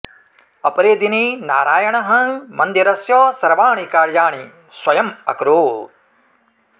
अपरे दिने नारायणः मन्दिरस्य सर्वाणि कार्याणि स्वयम् अकरोत्